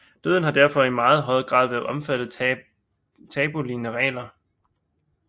Døden har derfor i meget høj grad været omfattet tabulignende regler